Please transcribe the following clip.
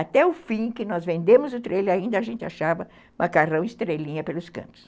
Até o fim que nós vendemos o trailer, ainda a gente achava macarrão e estrelinha pelos cantos.